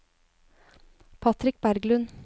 Patrick Berglund